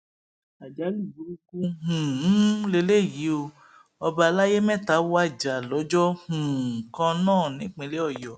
àjálù burúkú um lélẹyìí ò ọba àlàyé mẹta wájà lọjọ um kan náà nípínlẹ ọyọ